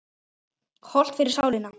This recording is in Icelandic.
Hollt fyrir sálina.